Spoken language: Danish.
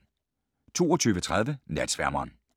22:30: Natsværmeren